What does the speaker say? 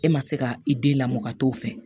E ma se ka i den lamɔ ka t'o fɛ